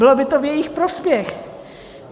Bylo by to v jejich prospěch.